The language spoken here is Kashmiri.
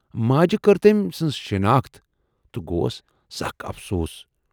ماجہِ کٔر تٔمۍ سٕنز شِناخت تہٕ گَوس سخ افسوٗس۔